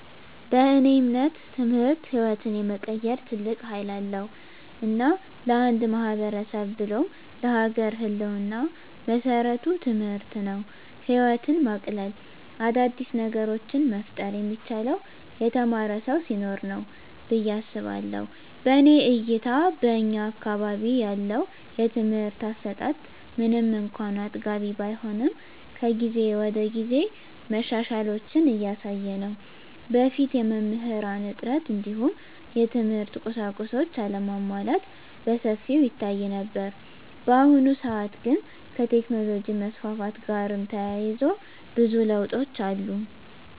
በእኔ እምነት ትምህርት ህይወትን የመቀየር ትልቅ ሀይል አለዉ። እና ለአንድ ማህበረሰብ ብሎም ለሀገር ህልወና መሰረቱ ትምህርት ነው። ህይወትን ማቅለል : አዳዲስ ነገሮችን መፍጠር የሚቻለው የተማረ ሰው ሲኖር ነው ብየ አስባለሁ። በእኔ እይታ በእኛ አካባቢ ያለው የትምህርት አሰጣት ምንም እንኳን አጥጋቢ ባይሆንም ከጊዜ ወደጊዜ መሻሻሎችን እያሳየ ነው። በፊት የመምህራን እጥረት እንዲሁም የትምህርት ቁሳቁሶች አለመሟላት በሰፊው ይታይ ነበር። በአሁኑ ሰአት ግን ከቴክኖሎጅ መስፋፋት ጋርም ተያይዞ ብዙ ለውጦች አሉ።